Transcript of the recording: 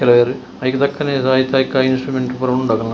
ಕೆಲವೆರ್ ಐಕ್ ತಕ್ಕನೆ ಐಕ್ ಐಕ್ ಇನ್ಟ್ರುಮೆಂಟ್ ಪೂರ ಉಂಡು ಅಕಲ್ನ.